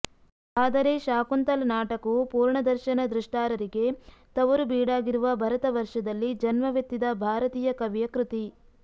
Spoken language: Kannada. ಆದರೆ ಶಾಕುಂತಲ ನಾಟಕವು ಪೂರ್ಣದರ್ಶನ ದ್ರಷ್ಟಾರರಿಗೆ ತವರುಬೀಡಾಗಿರುವ ಭರತವರ್ಷದಲ್ಲಿ ಜನ್ಮವೆತ್ತಿದ ಭಾರತೀಯ ಕವಿಯ ಕೃತಿ